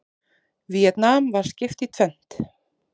Víetnam var skipt í tvennt.